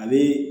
A bɛ